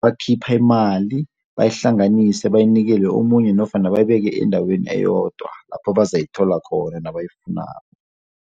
Bakhipha imali, bayihlanganise bayinikele omunye nofana bayibeke endaweni eyodwa lapho abazayithola khona nabayifunako.